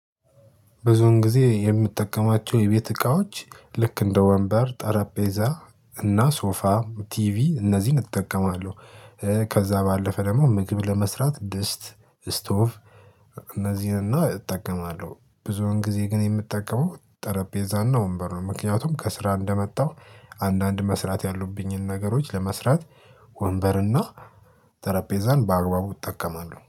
ብዙዉን ጊዜ የምትጠቀማቸው የቤት እቃዎች ልክ እንደ ወንበር ጠረጴዛ እና ሶፋ ቲቪ እነዚህን እጠቀማለሁ። ከዛ ባለፈ ደግሞ ምግብ ለመስራት ድስት ስቶቭ እነዚህን እና እጠቀማለሁ። ብዙውን ጊዜ ግን የምጠቀመው ጠረጴዛና ወንበሩን ነው ምክንያቱም ከስራ እንደመጣሁ አንዳንድ መስራት ያሉብኝን ነገሮች ለመስራት ወንበርና ጠረጴዛን በአግባቡ እጠቀማለሁ